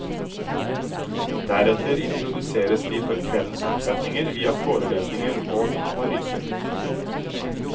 Deretter introduseres de for kveldens oppsetninger via forelesninger og analyser.